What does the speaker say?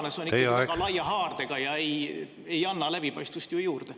… see on ikka väga laia haardega ega anna läbipaistvust juurde.